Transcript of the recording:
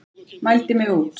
Mældi mig út.